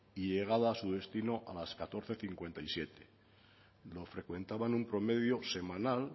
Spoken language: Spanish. y llegada a su destino a las catorce cincuenta y siete frecuentaban un promedio semanal